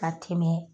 Ka tɛmɛ